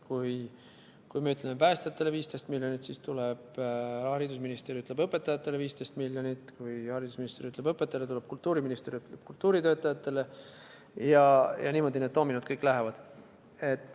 Kui me ütleme, et päästjatele 15 miljonit, siis tuleb haridusminister ja ütleb, õpetajatele 15 miljonit, kui haridusminister ütleb, et õpetajatele, tuleb kultuuriminister ja ütleb, et kultuuritöötajatele, ning niimoodi need doominod kõik lähevad.